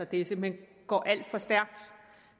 det simpelt hen går alt for stærkt